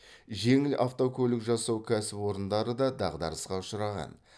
жеңіл автокөлік жасау кәсіпорындары да дағдарысқа ұшыраған